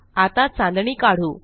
आता चांदणी काढू